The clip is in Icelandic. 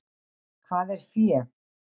Hvað er fé?